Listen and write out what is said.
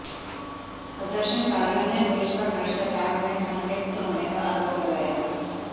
प्रदर्शनकारियों ने पुलिस पर भ्रष्टाचार में संलिप्त होने का आरोप लगाया